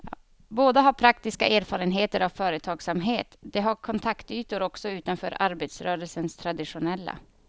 Båda har praktiska erfarenheter av företagsamhet, de har kontaktytor också utanför arbetarrörelsens traditionella.